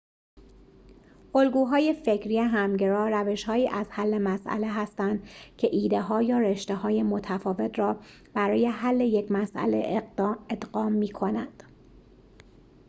الگوهای فکری همگرا روش‌هایی از حل مسئله هستند که ایده‌ها یا رشته‌های متفاوت را برای حل یک مسئله ادغام می‌کنند